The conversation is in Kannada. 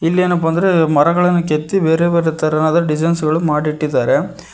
ಇಲ್ಲಿ ಏನಪ್ಪಾ ಅಂದ್ರೆ ಮರಗಳನ್ನು ಕೆತ್ತಿ ಬೇರೆ ಬೇರೆ ತರಹದ ಡಿಸೈನ್ಸ್ ಗಳು ಮಾಡಿಟ್ಟಿದ್ದಾರೆ.